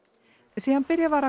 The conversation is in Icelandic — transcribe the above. síðan byrjað var að